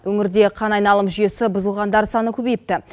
өңірде қан айналым жүйесі бұзылғандар саны көбейіпті